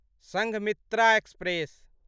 Sanghamitra express